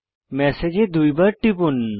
ম্যাসেজে দুইবার টিপুন